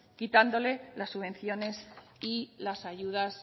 quitándoles las subvenciones y las ayudas